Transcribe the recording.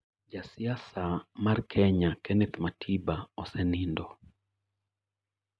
Ja siasa mar Kenya, Kenneth Matiba, osenindo